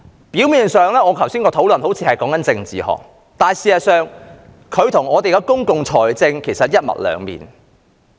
表面上，我剛才好像是在談論政治學，但實際上，我所說的與公共財政是一體兩面。